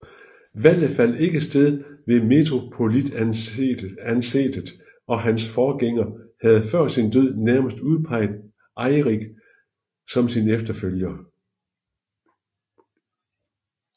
Valget fandt ikke sted ved metropolitansetet og hans forgænger havde før sin død nærmest udpeget Eirik som sin efterfølger